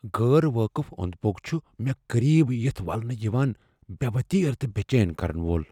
گٲر وٲقف اوند پو٘ك چھُ مے٘ قریب یِتھ ولنہٕ یوان ، بے٘ وتیرٕ تہٕ بے٘ چین كرن وول ۔